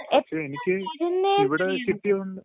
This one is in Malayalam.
ങാ...പക്ഷേ എനിക്ക് ഇവിടെ കിട്ടിയോണ്ട്...